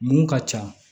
Mun ka ca